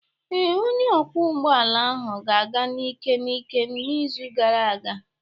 Ee, onye ọkwọ ụgbọ ala ahụ na-aga n'ike n'ike n'izu gara aga.